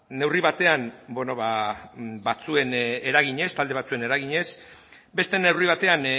neurri batean batzuen eraginez talde batzuen eraginez beste neurri batean